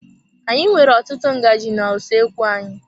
Anyị nwere ọtụtụ ngaji na-usoekwu anyị.